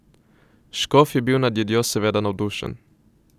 Škof je bil nad jedjo seveda navdušen.